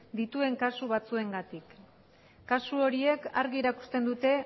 dituen kasu batzuengatik kasu horiek argi erakusten dute